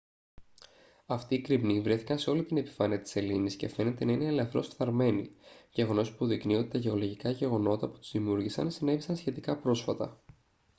αυτοί οι κρημνοί βρέθηκαν σε όλη την επιφάνεια της σελήνης και φαίνεται να είναι ελαφρώς φθαρμένοι γεγονός που υποδεικνύει ότι τα γεωλογικά γεγονότα που τους δημιούργησαν συνέβησαν σχετικά πρόσφατα